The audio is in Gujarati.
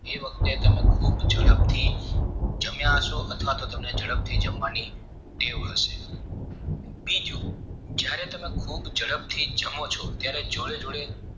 એ વખતે તમે ખુબ ઝડપથી જમ્યા હસો અથવાતો તમને ઝડપથી જમવાની ટેવ હશે બીજું જયારે તમે ખુબ ઝડપથી જમો ચો ત્યારે જોડે જોડે